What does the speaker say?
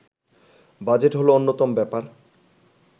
budget হলো অন্যতম ব্যাপার